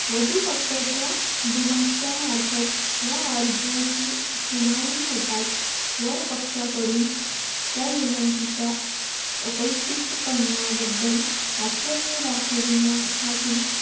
वधूपक्षाच्या दुभाषा अर्पंत या अर्जाची सुनावणी होताच वरपक्ष्य कडून त्या विनंतीचा अकल्पीतपणाबद्दल आश्चर्य दाखविण्यासाठी